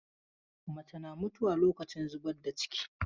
Mace na mutuwa lokacin zubar da ciki.